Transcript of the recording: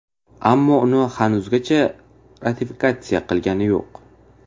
Ammo uni hanuzgacha ratifikatsiya qilgani yo‘q.